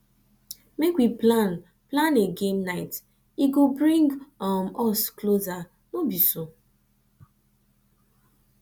make we plan plan a game night e go bring um us closer no be so